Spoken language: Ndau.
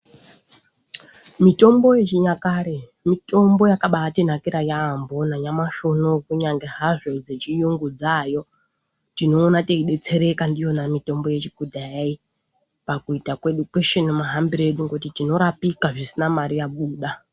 Mitombo ye chinyakare mitombo yakabai tinakira yambo na nyamashi unowu kunyange hazvo dze chiyungu dzayo tinoona tei detsereka ndiyona mitombo yekudhaya iyi pakuita kwedu kweshe ne mahambire edu ngekuti tinorapika pasina mari yabuda.